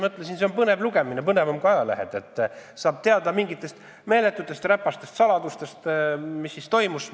Mõtlesin, et see on põnev lugemine, põnevam kui ajalehed, et saab teada mingitest meeletutest räpastest saladustest, mis meie maal on toimunud.